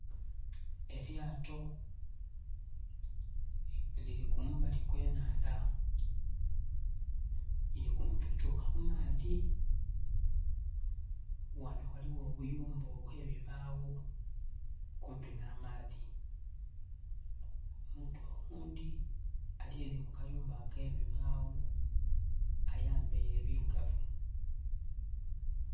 Elyato lili kumbali kw'ennhandha, lili kumpi tuuka ku maadhi. Ghanho ghaligho obuyumba obw'ebibagho kumpi nh'amaadhi. Omuntu oghundhi ali ele mu kayumba ak'ebibagho ayambaile birugavu.